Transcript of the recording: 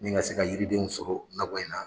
Nin ka se ka yiridenw sɔrɔ nakɔ in na